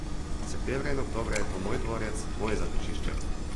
Septembra in oktobra je to moj dvorec, moje zatočišče.